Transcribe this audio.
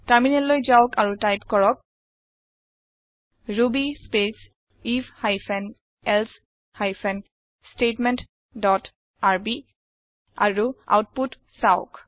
টাৰমিনেললৈ যাওক আৰু টাইপ কৰক ruby space if hyphen else hyphen statement dot rb আৰু আওতপুত চাওঁক